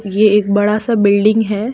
ये एक बड़ा सा बिल्डिंग है।